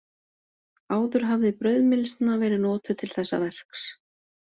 Áður hafði brauðmylsna verið notuð til þessa verks.